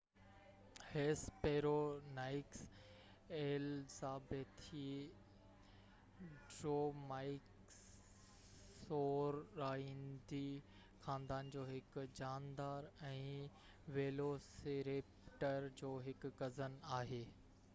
Hesperonychus elizabethae Dromaeosauridae خاندان جو هڪ جاندار ۽ ويلوسيريپٽر جو هڪ ڪزن آهي